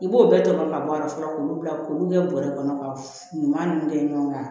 I b'o bɛɛ tɔmɔ ka bɔ a la fɔlɔ k'olu bila k'olu kɛ bɔrɛ kɔnɔ ka ɲuman ninnu kɛ ɲɔgɔn kan